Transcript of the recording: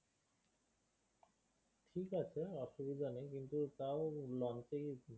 ঠিকআছে অসুবিধা নেই কিন্তু তাও launch এ